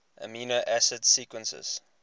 amino acid sequences